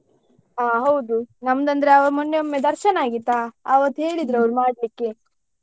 ಆ ಹೌದು ನಮ್ದು ಅಂದ್ರೆ ಆ ಮೊನ್ನೆಒಮ್ಮೆ ದರ್ಶನ ಆಗಿತ್ತ ಆವತ್ತು ಅವ್ರ್ ಮಾಡ್ಲಿಕ್ಕೆ.